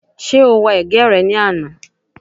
Ṣé o wa ẹ̀gẹ́ rẹ ní àná?